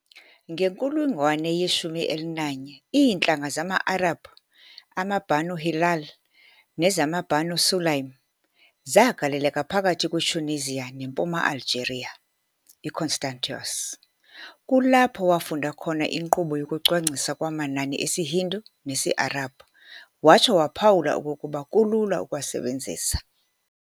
Ngenkulungwane ye-11, iintlanga zama-Arabhu amaBanu Hilal nezamaBanu Sulaym zagaleleka phakathi kwe-Tunisia nempuma-Algeria, i-Constantois. Kulapho wafunda khona inkqubo yokucwangciswa kwamanani esiHindu nesi-Arabhu, watsho waphawula okokuba kulula ukuwasebenzisa.